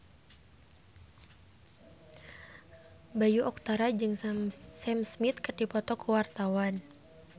Bayu Octara jeung Sam Smith keur dipoto ku wartawan